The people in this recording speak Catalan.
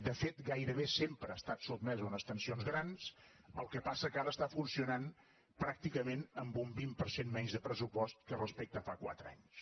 de fet gairebé sempre ha estat sotmesa a unes tensions grans el que passa és que ara està funcionant pràcticament amb un vint per cent menys de pressupost que respecte a fa quatre anys